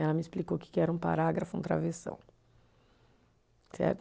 Ela me explicou o que que era um parágrafo, um travessão. Certo?